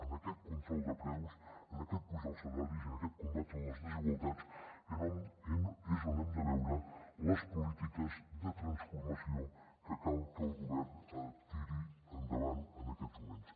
en aquest control de preus en aquest apujar els salaris i en aquest combatre les desigualtats és on hem de veure les polítiques de transformació que cal que el govern tiri endavant en aquests moments